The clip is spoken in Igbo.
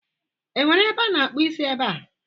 Enwere ebe a na-akpụ isi ebe a?